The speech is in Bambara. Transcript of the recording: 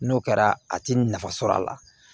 N'o kɛra a ti nafa sɔrɔ a la